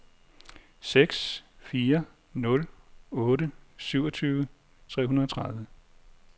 seks fire nul otte syvogtyve tre hundrede og tredive